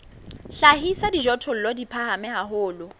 hlahisa dijothollo di phahame haholo